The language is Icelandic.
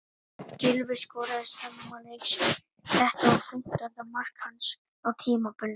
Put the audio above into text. Gylfi skoraði snemma leiks en þetta var fimmtánda mark hans á tímabilinu.